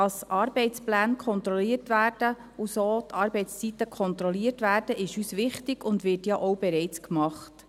Dass Arbeitspläne und somit die Arbeitszeiten kontrolliert werden, ist uns wichtig, und dies wird ja auch bereits gemacht.